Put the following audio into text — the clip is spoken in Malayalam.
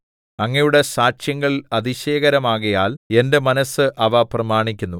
അങ്ങയുടെ സാക്ഷ്യങ്ങൾ അതിശയകരമാകയാൽ എന്റെ മനസ്സ് അവ പ്രമാണിക്കുന്നു